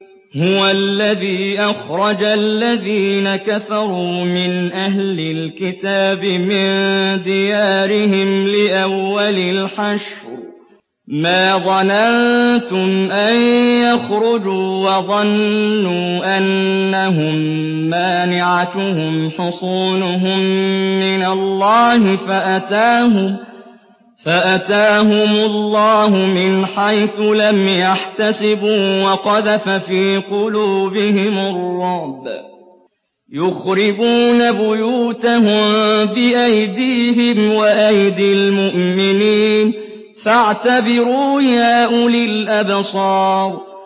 هُوَ الَّذِي أَخْرَجَ الَّذِينَ كَفَرُوا مِنْ أَهْلِ الْكِتَابِ مِن دِيَارِهِمْ لِأَوَّلِ الْحَشْرِ ۚ مَا ظَنَنتُمْ أَن يَخْرُجُوا ۖ وَظَنُّوا أَنَّهُم مَّانِعَتُهُمْ حُصُونُهُم مِّنَ اللَّهِ فَأَتَاهُمُ اللَّهُ مِنْ حَيْثُ لَمْ يَحْتَسِبُوا ۖ وَقَذَفَ فِي قُلُوبِهِمُ الرُّعْبَ ۚ يُخْرِبُونَ بُيُوتَهُم بِأَيْدِيهِمْ وَأَيْدِي الْمُؤْمِنِينَ فَاعْتَبِرُوا يَا أُولِي الْأَبْصَارِ